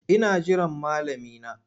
Ina jiran malami na.